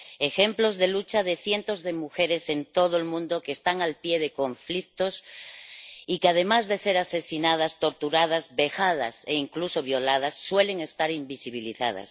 Ejemplos de lucha de cientos de mujeres en todo el mundo que están al pie de conflictos y que, además de ser asesinadas, torturadas, vejadas e incluso violadas, suelen estar invisibilizadas.